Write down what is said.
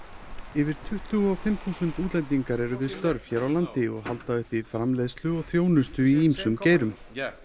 yfir tuttugu og fimm þúsund útlendingar eru við störf hér á landi og halda uppi framleiðslu og þjónustu í ýmsum greinum